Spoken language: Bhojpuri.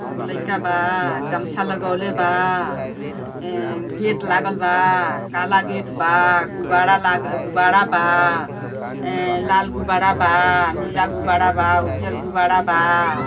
एगो लइका बा गमछा लगवले बा गेट लागल बा काला गेट बा गुब्बारा बा लाल गुब्बारा बा नीला गुब्बारा बा उज्जर गुब्बारा बा |